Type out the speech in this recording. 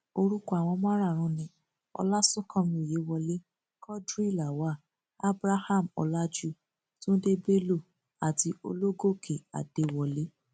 orúkọ àwọn márààrún ni ọláṣùnkànmí ọyẹwọlẹ quadri lawal abraham ọlajù tunde bello àti ológòkè adéwọlẹ